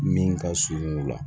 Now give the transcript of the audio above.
Min ka surun o la